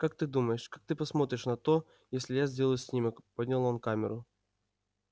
как ты думаешь как ты посмотришь на то если я сделаю снимок поднял он камеру